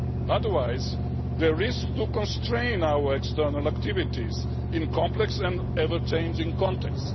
Otherwise, they risk constraining our external activities in a complex and ever changing context.